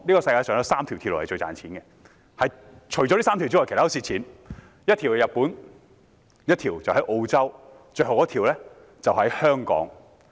在這3條鐵路中，一條在日本，一條在澳洲，最後一條在香港。